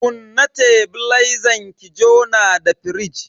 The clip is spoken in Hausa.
Kunna tebilezan ki jona da firij.